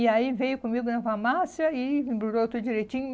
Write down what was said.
E aí veio comigo na farmácia e embrulhou tudo direitinho.